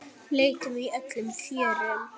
Leitum í öllum fjörum.